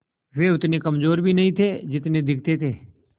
वे उतने कमज़ोर भी नहीं थे जितने दिखते थे